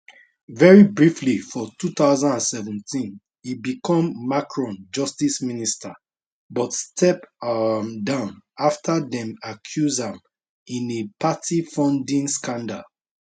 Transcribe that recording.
very briefly for 2017 e become macron justice minister but step um down afta dem accuse am in a party funding scandal